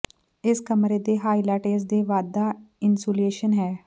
ਇਸ ਕਮਰੇ ਦੇ ਹਾਈਲਾਈਟ ਇਸ ਦੇ ਵਾਧਾ ਇਨਸੂਲੇਸ਼ਨ ਹੈ